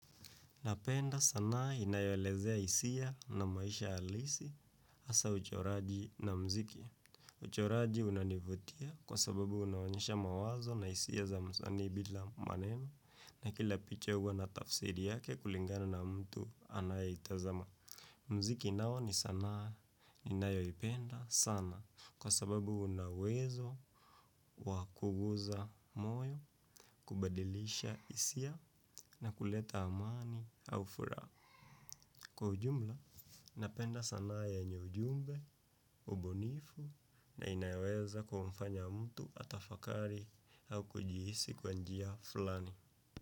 Napenda sanaa inayolezea hisia na maisha halisi hasa uchoraji na mziki. Uchoraji unanivutia kwa sababu unaonyesha mawazo na hisia za mzani bila maneno, na kila picha huwa na tafsiri yake kulingana na mtu anayetazama. Mziki nao ni sanaa ninayopenda sana kwa sababu una uwezo wa kuguza moyo, kubadilisha hisia na kuleta amani au furaha. Kwa ujumla, napenda sanaa yenye ujumbe, ubunifu na inaweza kumfanya mtu atafakari au kujihisi kwa njia fulani.